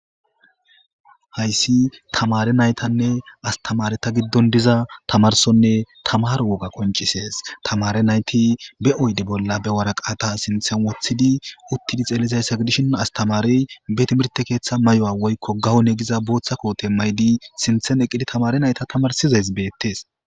hayssi tamare naytanne astamare ta giddon diza tamarsonne tamar woga qoncisees tamare nayti be oyde bolla be waraqata sinthen wothidi uttidi xellizayssa gidishin astamarey be timirte keeththa may7o7a woykko gahone giza booththa koote maydi sinthen eqidi tamare nayta tamarsizays beettes